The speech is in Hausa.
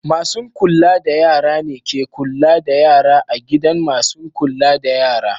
Masu'n kulla da yara ne ke kulla da yara a gidan masun kulla da yara.